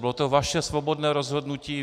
Bylo to vaše svobodné rozhodnutí.